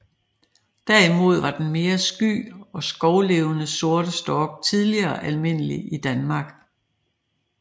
Derimod var den mere sky og skovlevende sorte stork tidligere almindelig i Danmark